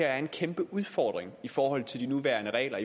er en kæmpe udfordring i forhold til de nuværende regler